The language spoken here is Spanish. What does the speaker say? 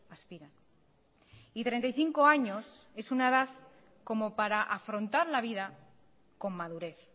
aspiran y treinta y cinco años es una edad como para afrontar la vida con madurez